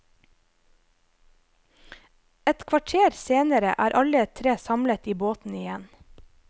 Et kvarter senere er alle tre samlet i båten igjen.